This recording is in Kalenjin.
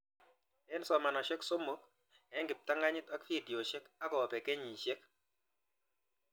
Eng' somanoshok somok eng' kiptanganyit ak videoshek akopee kenyishek